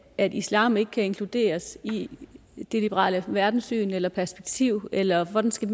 at islam ikke kan inkluderes i det liberale verdenssyn eller perspektiv eller hvordan skal